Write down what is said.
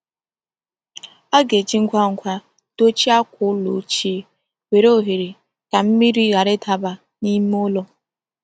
A ga-eji ngwa ngwa dochie akwa ụlọ ochie nwere oghere ka mmiri ghara ịdaba n’ime ụlọ.